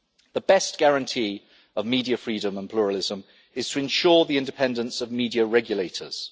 The best guarantee of media freedom and pluralism is to ensure the independence of media regulators.